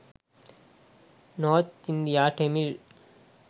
north india tamil